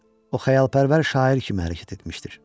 O xəyalpərvər şair kimi hərəkət etmişdir.